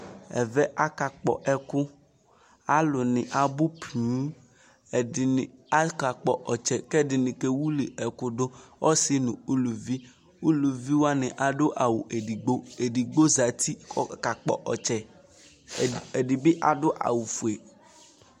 ɛvɛ aka kpɔ ɛku alo ni abò ponŋ ɛdini aka kpɔ ɔtsɛ k'ɛdini kewili ɛku do ɔse no uluvi uluvi wani ado awu edigbo edigbo zati k'ɔka kpɔ ɔtsɛ ɛdi bi ado awu fue